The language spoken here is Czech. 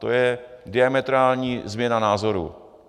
To je diametrální změna názoru.